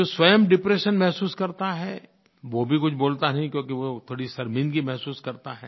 जो स्वयं डिप्रेशन महसूस करता है वो भी कुछ बोलता नहीं क्योंकि वो थोड़ी शर्मिंदगी महसूस करता है